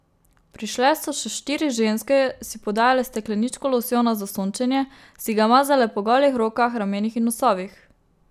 Prišle so še štiri ženske, si podajale stekleničko losjona za sončenje, si ga mazale po golih rokah, ramenih in nosovih.